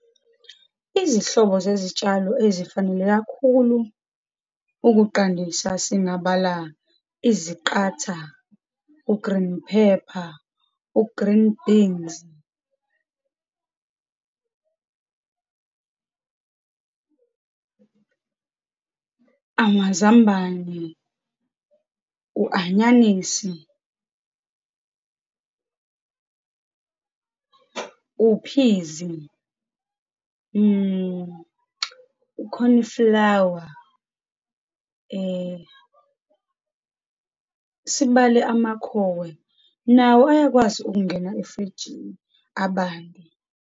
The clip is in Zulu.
Izihlobo zezitshalo ezifanele kakhulu ukuqandisa, singabala, iziqatha, u-green pepper, u-green beans amazambane, u-anyanisi, uphizi, u-cornflower, sibale amakhowe, nawo ayakwazi ukungena efrijini, abande.